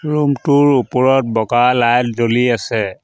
Room টোৰ ওপৰত বগা লাইট জ্বলি আছে।